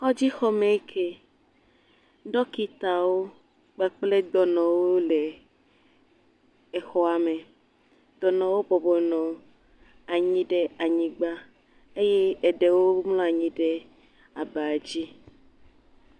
Kɔdzi xɔme ŋkie, dɔkitawo kpakple dɔnɔawo le exɔa me, dɔnɔwo bɔbɔ nɔ anyi ɖe anyigba eye eɖewo mlɔ anyi ɖe aba dzi.